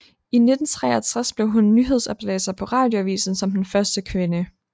I 1963 blev hun nyhedsoplæser på Radioavisen som den første kvinde